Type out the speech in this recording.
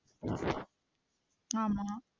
ஆமா.